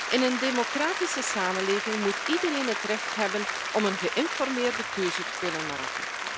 In een democratische samenleving moet iedereen het recht hebben om een geïnformeerde keuze te kunnen maken.